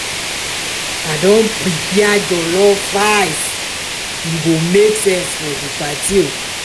i don prepare jollof rice e go make sense for di party.